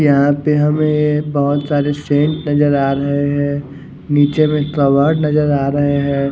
यहा पर हमे एक बहोत सारे सेंट नजर आ रहे है निचे में कवर्ड नजर आ रहे है।